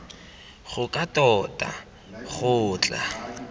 go ka tota go tla